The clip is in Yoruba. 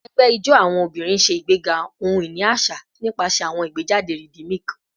Awọn ẹgbẹ ijó awọn obinrin ṣe igbega ohun-ini aṣa nipasẹ awọn igbejade rhythmic